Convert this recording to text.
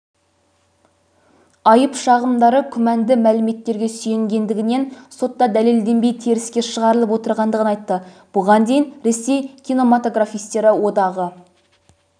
айып-шағымдары күмәнді мәліметтерге сүйенгендігінен сотта дәлелденбей теріске шығарылып отырғандығын айтты бұған дейін ресей кинематографистері одағы